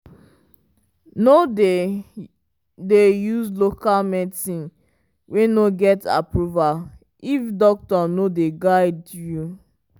no dey dey use local medicine wey no get approval if doctor no dey guide you.